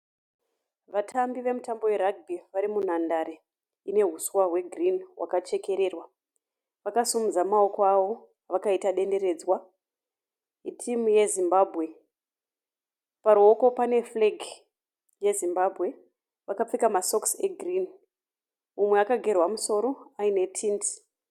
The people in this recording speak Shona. Vatambi vemutambo weragibhi varimunhandare ine huswa hwegirini hwakachekererwa, vakasimudza mawoko avo vakaita denderedzwa itimu yeZimbabwe, paruwoko pane furegi yeZimbabwe vakapfeka masokisi egirini mumwe akagerwa musoro aine tindi.